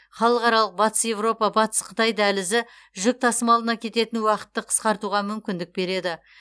халықаралық батыс еуропа батыс қытай дәлізі жүк тасымалына кететін уақытты қысқартуға мүмкіндік береді